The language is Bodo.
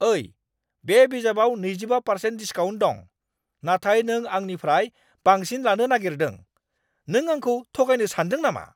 ओइ! बे बिजाबाव नैजिबा पारसेन्ट डिसकाउन्ट दं, नाथाय नों आंनिफ्राय बांसिन लानो नागेरदों। नों आंखौ थगायनो सानदों नामा?